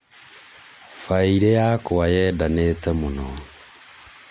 baĩirĩ yakwa yendanĩte mũno?